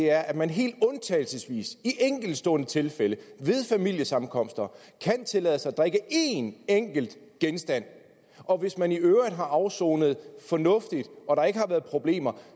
er at man helt undtagelsesvis i enkeltstående tilfælde ved familiesammenkomster kan tillade sig at drikke én enkelt genstand og hvis man i øvrigt har afsonet fornuftigt og der ikke har været problemer